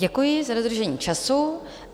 Děkuji za dodržení času.